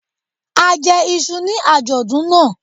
A jẹ iṣu ní àjọ̀dún náà.